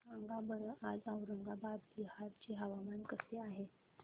सांगा बरं आज औरंगाबाद बिहार चे हवामान कसे आहे